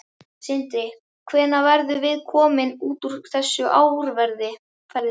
Sindri: Hvenær verðum við komin út úr þessu árferði?